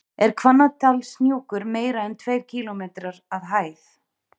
Er Hvannadalshnjúkur meira en tveir kílómetrar að hæð?